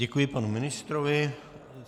Děkuji panu ministrovi.